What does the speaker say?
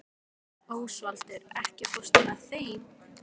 Ósvaldur, ekki fórstu með þeim?